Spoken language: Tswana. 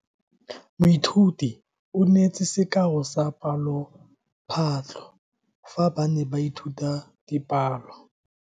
Moithuti o neetse sekao sa palophatlo fa ba ne ba ithuta dipalo.